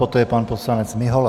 Poté pan poslanec Mihola.